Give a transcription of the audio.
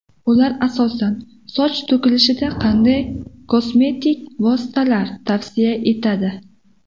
Ular asosan: Soch to‘kilishida qanday kosmetik vositalar tavsiya etiladi?